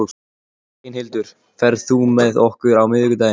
Reynhildur, ferð þú með okkur á miðvikudaginn?